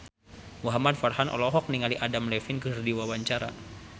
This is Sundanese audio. Muhamad Farhan olohok ningali Adam Levine keur diwawancara